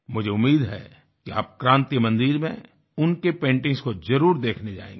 मुझे उम्मीद है कि आप क्रांति मंदिर में उनकी पेंटिंग्स को जरुर देखने जाएंगे